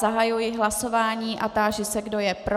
Zahajuji hlasování a táži se, kdo je pro.